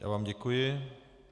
Já vám děkuji.